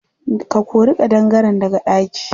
Ka kori ƙadangaren daga ɗaki.